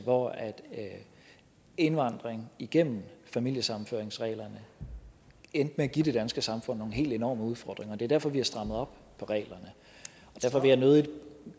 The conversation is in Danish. hvor indvandring gennem familiesammenføringsreglerne endte med at give det danske samfund nogle helt enorme udfordringer og det er derfor vi har strammet op på reglerne derfor vil jeg nødig